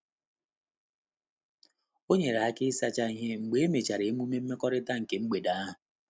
O nyere aka ịsacha ihe mgbe emechara emume mmekọrịta nke mgbede ahụ.